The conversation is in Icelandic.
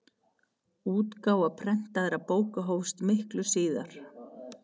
útgáfa prentaðra bóka hófst miklu síðar